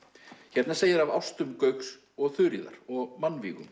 hérna segir af ástum Gauks og Þuríðar og